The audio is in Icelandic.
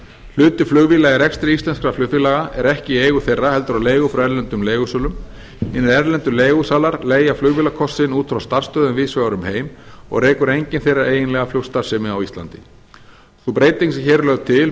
hluti flugvéla í rekstri íslenskra flugfélaga er ekki í eigu þeirra heldur á leigu frá erlendum leigusölum hinir erlendu leigusalar leigja flugvélakostinn út frá frá starfsstöðvum víðs vegar um heim og rekur enginn þeirra eiginlega flugstarfsemi á íslandi sú breyting sem hér er lögð til